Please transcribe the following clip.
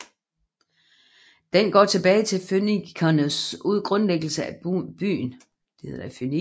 Den går tilbage til fønikernes grundlæggelse af byen